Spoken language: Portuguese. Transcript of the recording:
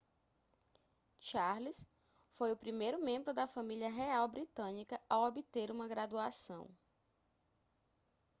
charles foi o primeiro membro da família real britânica a obter uma graduação